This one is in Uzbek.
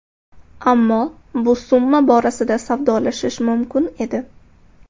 Ammo bu summa borasida savdolashish mumkin edi.